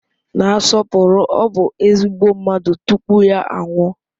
Na-asọpụrụ; ọ bụ ezigbo mmadụ tupu ya anwụọ.